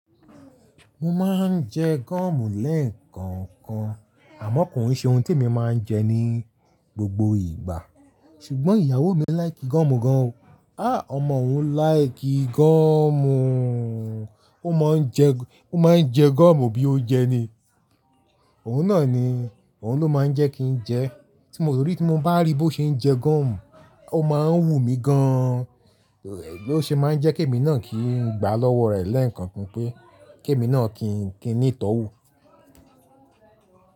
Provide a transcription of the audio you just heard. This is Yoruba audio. Mo máa ń jẹ gúọ̀mù lẹ́ẹ̀kọ̀kan, àmọ́ kò ní ṣe ohun tí mo máa ń jẹ ní gbogbo ìgbà. Ṣùgbọ́n ìyàwó mi like gúọ̀mù gan. Áà ọmọ òun like gúọ̀mù, ó máa ń jẹ, ó máa ń jẹ gúọ̀mù bí ó jẹ ni. Òun náà ni, òun ló máa ń jẹ́ kí n jẹ. Tí mo rí, tí mo bá rí bí ó ṣe ń jẹ gúọ̀mù, ó máa ń wù mí gan. Ni ó ṣe máa ń jẹ́ kí èmi náà kí n gbá lọ́wọ́ rẹ̀ lẹ́ẹ̀kọ̀kan pé, kí èmi náà kí n tó wù.